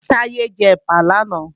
Táyé jẹ ẹ̀pà làná